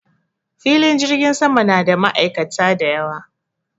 Filin jirgin sama na da ma'aikata da yawa.